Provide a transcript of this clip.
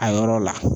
A yɔrɔ la